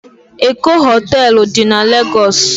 Eko hotelu di na Legosi